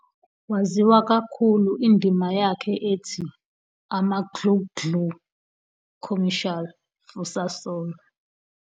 Waziwa kakhulu Indima yakhe ethi "Amaglugglug" commercial for Sasol.